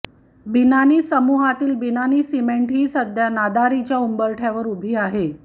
बिनानी समूहातील बिनानी सिमेंट ही सध्या नादारीच्या उंबरठ्यावर उभी आहे